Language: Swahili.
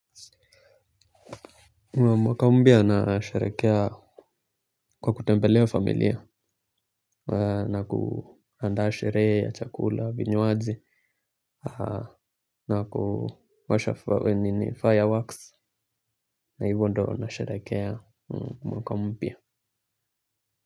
Mwaka mpya nasherehekea kwa kutembelea familia na kuandaa sherehe ya chakula vinywaji na kuwasha fireworks na hivyo ndo nasherehekea mwaka mpya.